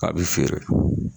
A be feere